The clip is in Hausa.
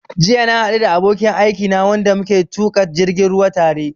Jiya na haɗu da abokin aikina wanda muke tuƙa jirgin ruwa tare